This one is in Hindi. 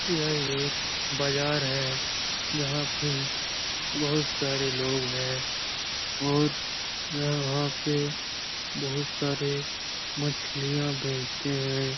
यह एक बाजार है जहाँ पे बहोत सारे लोग हैं और यह वहाँ पे बहोत सारे मछलियाँ बेचते हैं।